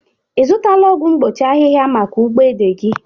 Ị zutala ọgwọ mgbochi ahiha maka ugbo ede gi?